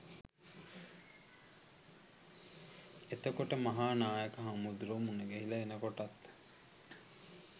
එතකොට මහා නායක හාමුදුරුවො මුණගැහිල එනකොටත්